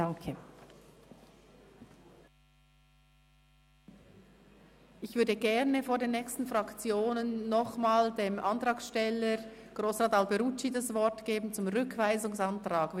Ich würde vor den nächsten Fraktionserklärungen gerne nochmals Antragsteller Grossrat Alberucci das Wort zum Rückweisungsantrag geben.